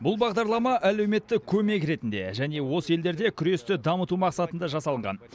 бұл бағдарлама әлеуметтік көмек ретінде және осы елдерде күресті дамыту мақсатында жасалынған